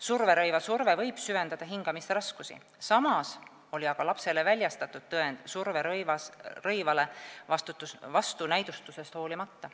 Surverõiva surve võib süvendada hingamisraskusi, samas oli aga lapsele väljastatud tõend, et ta vajab surverõivast, vastunäidustusest hoolimata.